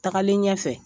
Tagalen ɲɛfɛ